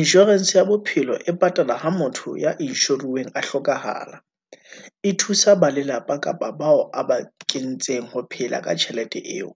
Insurance ya bophelo e patala ha motho ya inshoriweng a hlokahala, e thusa ba lelapa kapa bao a ba kentseng ho phela ka tjhelete eo.